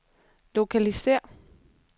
lokalisér